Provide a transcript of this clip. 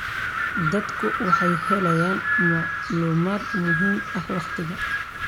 Dadku waxay helayaan macluumaad muhiim ah waqtiga.